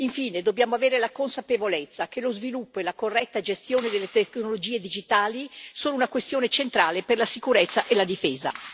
Infine, dobbiamo avere la consapevolezza che lo sviluppo e la corretta gestione delle tecnologie digitali sono una questione centrale per la sicurezza e la difesa.